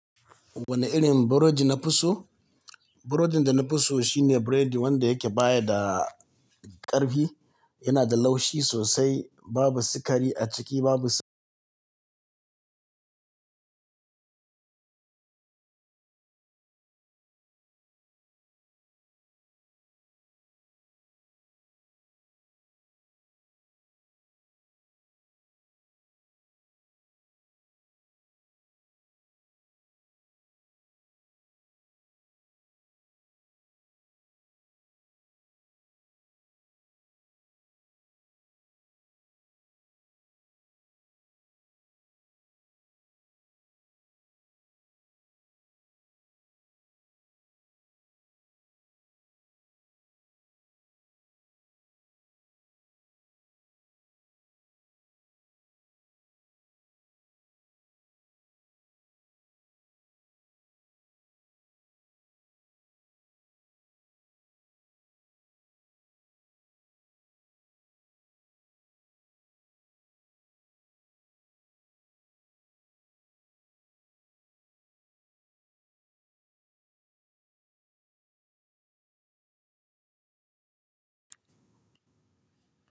Wane irin burodi na fi so? Burodin da na fi so shine buredi wanda yake baya da ƙarfi, yana da laushi sosai, babu sikari a ciki, babu.